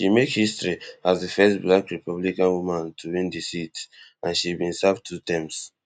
she make history as di first black republican woman to win di seat and she bin serve two terms